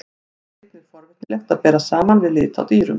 Hér er einnig forvitnilegt að bera saman við lit á dýrum.